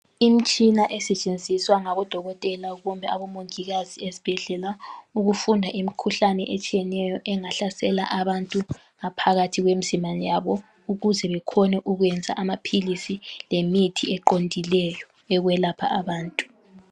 Imtshina esetshenziswa ngabodokotela kumbe abomongikazi ezibhedlela ukufunda imikhuhlane etshiyeneyo engahlasela abantu ngaphakathi kwemzimba yabo ukuze bekhone ukuyenza amaphilisi lemithi eqondileyo yokwelapha abantu.